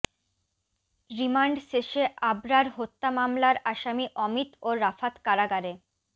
remand শেষে আবরার হত্যা মামলার আসামি অমিত ও রাফাত কারাগারে